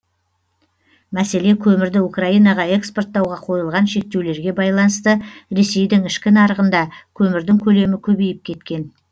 мәселе көмірді украинаға экспорттауға қойылған шектеулерге байланысты ресейдің ішкі нарығында көмірдің көлемі көбейіп кеткен